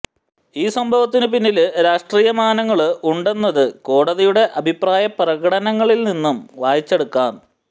ഈ സംഭവത്തിനു പിന്നില് രാഷ്ട്രീയമാനങ്ങള് ഉണ്ടെന്നത് കോടതിയുടെ അഭിപ്രായ പ്രകടനങ്ങളില്നിന്നു വായിച്ചെടുക്കാം